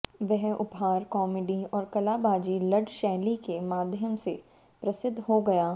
वह उपहार कॉमेडी और कलाबाजी लड़ शैली के माध्यम से प्रसिद्ध हो गये